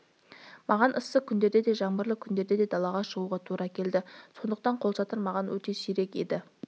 маған ыссы күндерде де жаңбырлы күндерде де далаға шығуға тура келді сондықтан қолшатыр маған өте керек еді